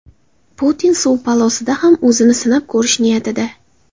Putin suv polosida ham o‘zini sinab ko‘rish niyatida.